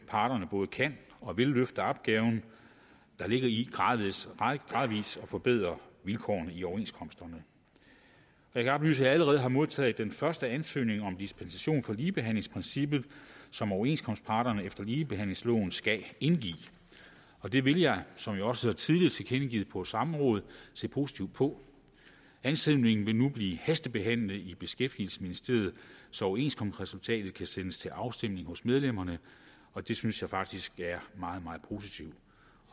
parterne både kan og vil løfte opgaven der ligger i gradvis at forbedre vilkårene i overenskomsterne jeg kan oplyse at jeg allerede har modtaget den første ansøgning om dispensation fra ligebehandlingsprincippet som overenskomstparterne efter ligebehandlingsloven skal indgive og det vil jeg som jeg også tidligere har tilkendegivet på et samråd se positivt på ansøgningen vil nu blive hastebehandlet i beskæftigelsesministeriet så overenskomstresultatet kan sendes til afstemning hos medlemmerne og det synes jeg faktisk er meget meget positivt